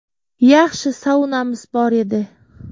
Yaxshi saunamiz bor edi.